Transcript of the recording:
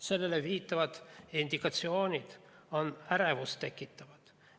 Sellele viitavad indikatsioonid on ärevust tekitavad.